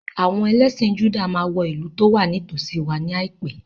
Àwọn ẹlẹ́sìn Júdà máa wọ ìlú tó wà ní tòsíi wa ní àìpé.